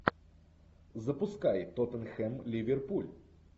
запускай тоттенхэм ливерпуль